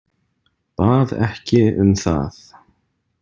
Bað ekki um það.